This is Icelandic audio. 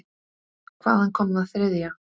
Hvaðan kom það þriðja?